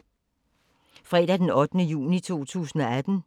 Fredag d. 8. juni 2018